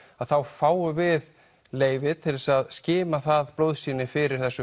þá fáum við leyfi til að skima það blóðsýni fyrir þessu